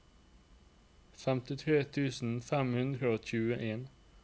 femtitre tusen fem hundre og tjueen